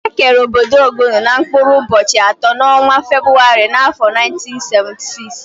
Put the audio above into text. Ekere ọbọdọ Ogun n' mkpụrụ ubochi atọ n'ọnwa Febụwarị n'afọ 1976.